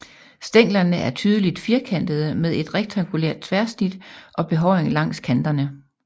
Stænglerne er tydeligt firkantede med et rektangulært tværsnit og behåring langs kanterne